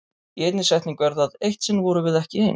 Í einni setningu er það: Eitt sinn vorum við ekki ein.